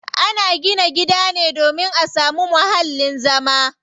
Ana gina gida ne domin a samu muhallin zama.